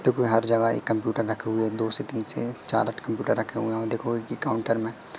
देखो हर जगह एक कंप्यूटर रखे हुए दो से तीन से चार कंप्यूटर रखे हुए हैं देखो एक ही काउंटर में--